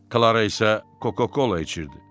Klara isə Coca-Cola içirdi.